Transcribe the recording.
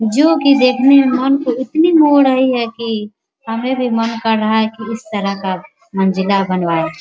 जो की देखने मे मन को इतनी मोह रही है की हमें भी मन कर रहा है की उस तरह का मंजिला बनबाए ।